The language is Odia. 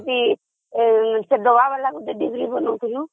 ସେଠି ସେ ଡବାଵାଲା ଡ଼ିବିରି ବନାଉଥିଲୁ